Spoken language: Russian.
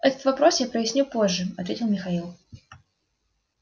этот вопрос я проясню позже ответил михаил